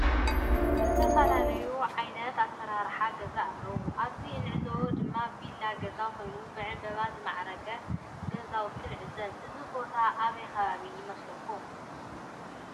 ዝተፈላለዩ ዓይነት አስራራሓ ገዛ አለው አብዚ እንዕዘቦ ድማ ቪላ ገዛ ኮይኑ ብዕንበባ ዝማዕረገ ገዛውቲ ንዕዘብ ። እዚ ቦታ አበይ ከባቢ ይመስለኩም?